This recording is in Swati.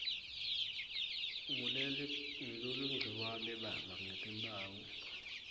nguleligciwane baba netimphawu